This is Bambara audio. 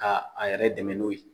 Ka a yɛrɛ dɛmɛ n'o ye.